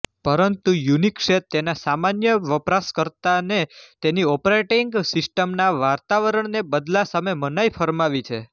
પરંતુ યુનિક્સે તેના સામાન્ય વપરાશકર્તાને તેની ઓપરેટિંગ સિસ્ટમના વાતાવરણને બદલા સામે મનાઈ ફરમાવી છે